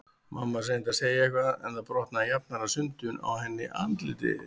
Mamma hans reyndi að segja eitthvað en það brotnaði jafnharðan sundur á henni andlitið.